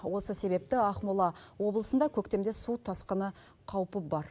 осы себепті ақмола облысында көктемде су тасқыны қаупі бар